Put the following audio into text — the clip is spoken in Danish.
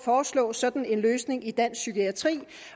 foreslå sådan en løsning i dansk psykiatri